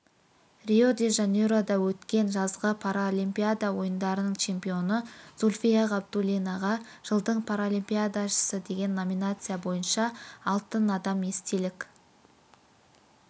рио-де-жанейрода өткен жазғы паралимпиада ойындарының чемпионы зульфия ғабидуллинаға жылдың паралимпиадашысы деген номинация бойынша алтын адам естелік